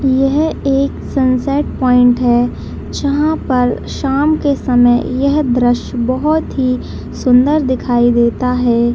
यह एक sunset point है जहाँ पे शाम के समय यह दृश्य बहुत ही सुन्दर दिखाई देता हैं ।